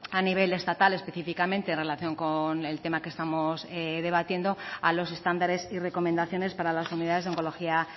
a nivel estatal específicamente en relación con el tema que estamos debatiendo a los estándares y recomendaciones para las unidades de oncología